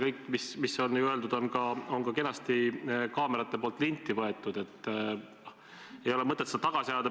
See, mis on öeldud, on ju ka kenasti kaamerate poolt salvestatud, ei ole mõtet seda tagasi ajada.